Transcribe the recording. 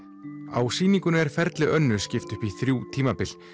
á sýningunni er ferli Önnu skipt upp í þrjú tímabil